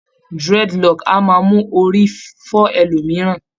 Dreadlocks a máa mú orí fọ́ ẹlòmìíràn